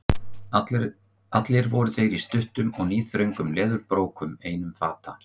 Allir voru þeir í stuttum og níðþröngum leðurbrókum einum fata.